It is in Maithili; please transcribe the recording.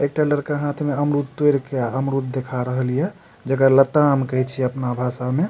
एक ठो लड़का हाथ में अमरुद तोड़ के अमरुद दिखा रहल हिए जेकरा लता आम कही छिए अपना भाषा में।